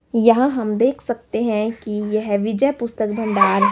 यहां हम देख सकते हैं कि यह विजय पुस्तक भंडार--